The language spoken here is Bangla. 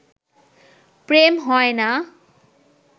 প্রেম হয় না